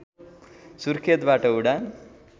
सुर्खेतबाट उडान